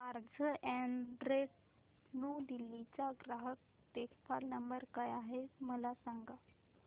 Carzonrent new Delhi चा ग्राहक देखभाल नंबर काय आहे मला सांग